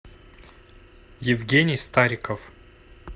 евгений стариков